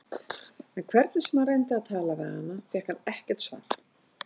En hvernig sem hann reyndi að tala við hana fékk hann ekkert svar.